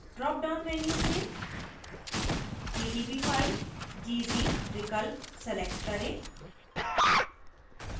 drop down menu से pdb file gz विकल्प select करें